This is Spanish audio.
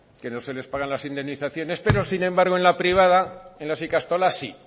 que no se les pagan las indemnizaciones pero sin embargo en la privada y en las ikastolas sí